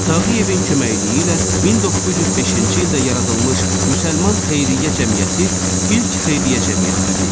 Tağıyevin köməkliyi ilə 1905-ci ildə yaradılmış müsəlman xeyriyyə cəmiyyəti ilk xeyriyyə cəmiyyəti idi.